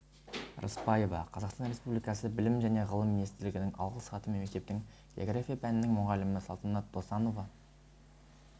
рыспаева қазақстан республикасы білім және ғылым министрлігінің алғыс хатымен мектептің география пәнінің мұғалімі салтанат досанова